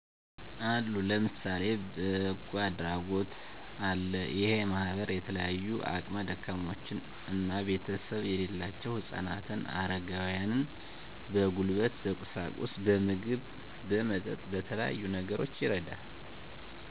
አሉ ለምሳሌ በጎ አድራጎት አለ እሄ ማህበር የተለያዩ አቅም ደካሞችና ቤተሰብ የሌላቸውን ህጻናት አረጋውያን በጉልበት በቁሳቁስ በምግብ በመጠጥ በተለያዩ ነገሮች ይረዳል